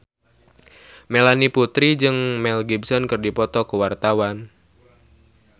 Melanie Putri jeung Mel Gibson keur dipoto ku wartawan